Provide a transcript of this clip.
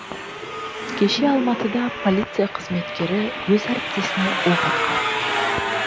кеше алматыда полиция қызметкері өз әріптесіне оқ атқан